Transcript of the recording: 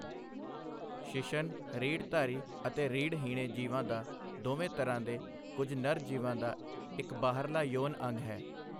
ਸ਼ਿਸ਼ਨ ਰੀੜ੍ਹਧਾਰੀ ਅਤੇ ਰੀੜ੍ਹਹੀਣੇ ਜੀਵਾਂ ਦਾ ਦੋਵਾਂ ਤਰ੍ਹਾਂ ਦੇ ਕੁੱਝ ਨਰ ਜੀਵਾਂ ਦਾ ਇੱਕ ਬਾਹਰਲਾ ਯੋਨ ਅੰਗ ਹੈ।